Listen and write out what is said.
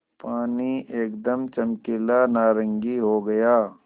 पानी एकदम चमकीला नारंगी हो गया